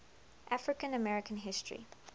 african american history